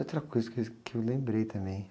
Outra coisa que es, que eu lembrei também.